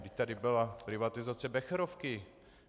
Vždyť tady byla privatizace Becherovky.